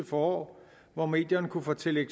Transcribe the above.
forår hvor medierne kunne fortælle